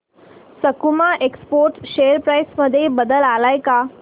सकुमा exports share price मध्ये बदल आलाय का